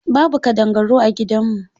Babu ƙadangaru a gidan mu.